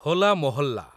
Hola Mohalla